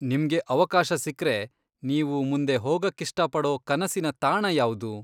ನಿಮ್ಗೆ ಅವಕಾಶ ಸಿಕ್ರೆ ನೀವು ಮುಂದೆ ಹೋಗಕ್ಕಿಷ್ಟಪಡೋ ಕನಸಿನ ತಾಣ ಯಾವ್ದು?